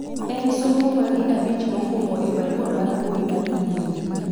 en somo mage abich mokwongo e barua mar mbui mar email